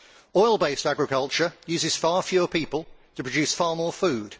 Oil based agriculture uses far fewer people to produce far more food.